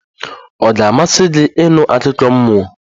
Ọ ga-amasị gị ịnụ akụkọ mmụọ?